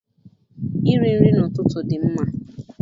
Iri nri n'ụtụtụ dị mma.